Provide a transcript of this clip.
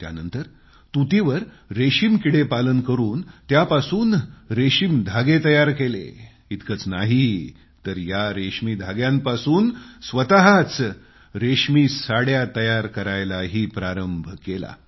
त्यानंतर तूतीवर रेशम कीडेपालन करून त्यापासून रेशम धागे तयार केले इतकंच नाही तर या रेशमी धाग्यांपासून स्वतःच साड्या तयार करायलाही प्रारंभ केला